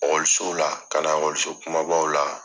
la, ka na kumabaw la.